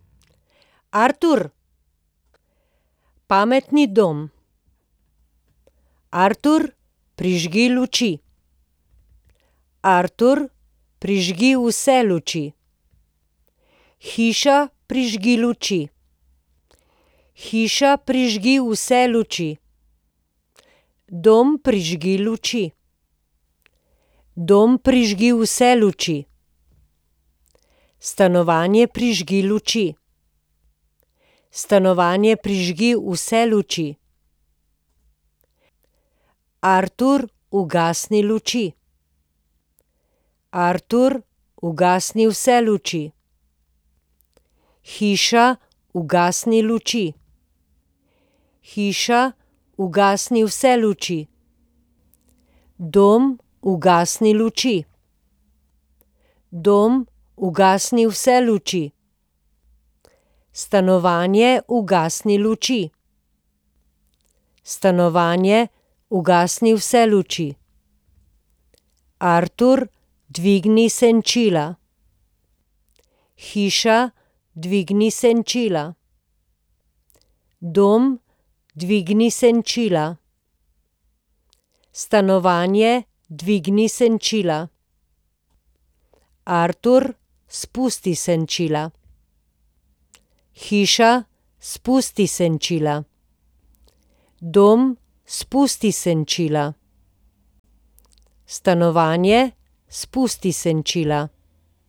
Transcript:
Artur. Pametni dom. Artur, prižgi luči. Artur, prižgi vse luči. Hiša, prižgi luči. Hiša, prižgi vse luči. Dom, prižgi luči. Dom, prižgi vse luči. Stanovanje, prižgi luči. Stanovanje, prižgi vse luči. Artur, ugasni luči. Artur, ugasni vse luči. Hiša, ugasni luči. Hiša, ugasni vse luči. Dom, ugasni luči. Dom, ugasni vse luči. Stanovanje, ugasni luči. Stanovanje, ugasni vse luči. Artur, dvigni senčila. Hiša, dvigni senčila. Dom, dvigni senčila. Stanovanje, dvigni senčila. Artur, spusti senčila. Hiša, spusti senčila. Dom, spusti senčila. Stanovanje, spusti senčila.